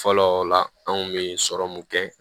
Fɔlɔ o la an kun be sɔrɔmu mun kɛ